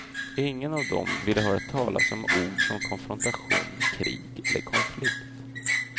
Ingen av dem vill höra talas om ord som konfrontation, krig eller konflikt.